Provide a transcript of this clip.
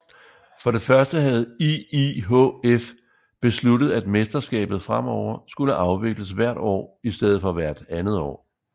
For det første havde IIHF besluttet at mesterskabet fremover skulle afvikles hvert år i stedet for hvert andet år